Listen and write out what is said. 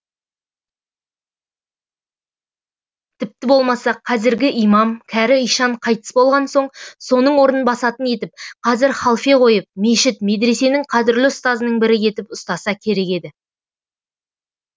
тіпті болмаса қазіргі имам кәрі ишан қайтыс болған соң соның орнын басатын етіп қазір халфе қойып мешіт медресенің қадірлі ұстазының бірі етіп ұстаса керек еді